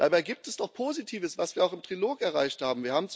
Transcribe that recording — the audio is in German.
Dabei gibt es doch Positives, was wir auch im Trilog erreicht haben.